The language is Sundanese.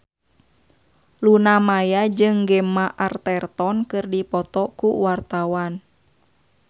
Luna Maya jeung Gemma Arterton keur dipoto ku wartawan